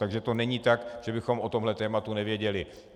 Takže to není tak, že bychom o tomhle tématu nevěděli.